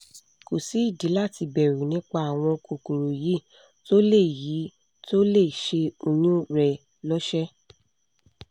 kò sí ìdí láti bẹ̀rù nípa àwọn kòkòrò yìí tó lè yìí tó lè ṣe oyún rẹ lọ́ṣẹ́